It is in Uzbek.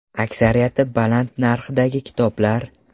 Aksariyati baland narxdagi kitoblar.